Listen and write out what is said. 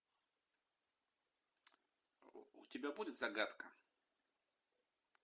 у тебя будет загадка